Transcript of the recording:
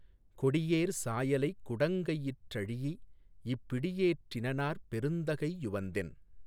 கொடியேர் சாயலைக் குடங்கையிற் றழீஇப் பிடியேற் றினனாற் பெருந்தகை யுவந்தென்